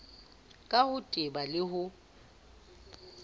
ka ho teba le ho